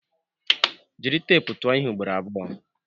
Jiri teepu tụọ ihe ugboro abụọ!